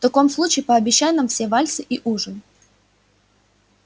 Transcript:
в таком случае пообещай нам все вальсы и ужин